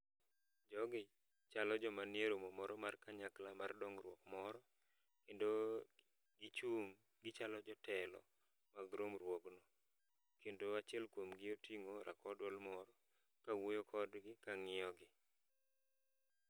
Jogi chalo joma nie romo moro mar kanyakla mar dongruok moro. Kendo gichung' gichalo jotelo mag romruogno, kendo achiel kuomgi oting'o rakow duol moro kawuoyo kodgi ka ng'iyogi.